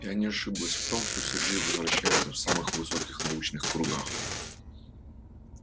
я не ошиблась в том что сергей вращается в самых высоких научных кругах